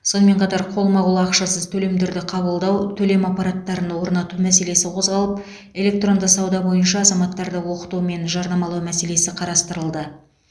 сонымен қатар қолма қол ақшасыз төлемдерді қабылдау төлем аппараттарын орнату мәселесі қозғалып электронды сауда бойынша азаматтарды оқыту мен жарнамалау мәселесі қарастырылды